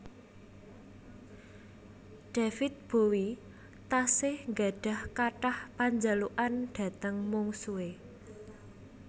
David Bowie tasih nggadhah kathah panjalukan dhateng mungsuhe